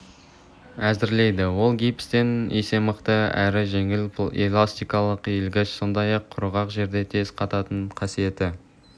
әзірлейді ол гипстен есе мықты әрі жеңіл эластикалық иілгіш сондай-ақ құрғақ жерде тез қататын қасиеті